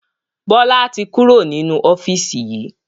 Bọlá tí kúrò nínú ofiisi yìí